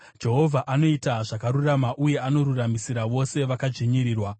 Jehovha anoita zvakarurama, uye anoruramisira vose vakadzvinyirirwa.